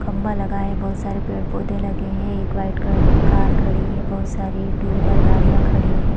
खम्बा लगा है बहुत सारे पेड़ - पौधे लगे है एक व्हाइट कलर की कार खड़ी है बहुत सारे टू व्हीलर गाड़ियाँ खड़ी है।